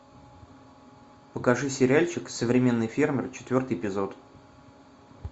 покажи сериальчик современный фермер четвертый эпизод